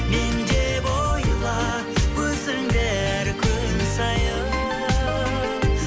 мен деп ойла өзіңді әр күн сайын